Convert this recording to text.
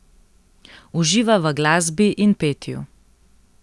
Uživa v glasbi in petju.